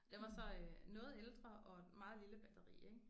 Den var så øh noget ældre og et meget lille batteri ik